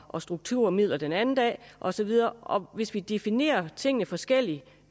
og strukturmidler den anden dag og så videre og hvis vi definerer tingene forskelligt